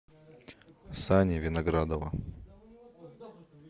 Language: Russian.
сани виноградова